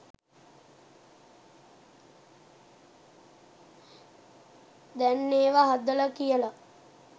දැන් ඒව හදල කියල.